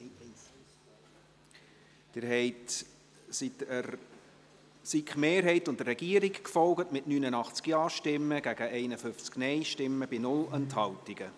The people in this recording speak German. Sie sind der SiK-Mehrheit und der Regierung gefolgt, mit 89 Ja- gegen 51 Nein-Stimmen bei 0 Enthaltungen.